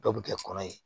Dɔw bɛ kɛ kɔnɔ ye